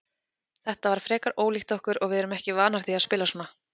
Þetta var frekar ólíkt okkur og við erum ekki vanar því að spila svona.